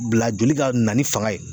Bila joli ka na ni fanga ye